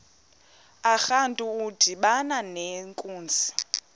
urantu udibana nenkunzi